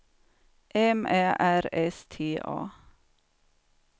M Ä R S T A